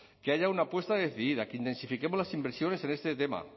que haya una apuesta decidida que intensifiquemos las inversiones en este tema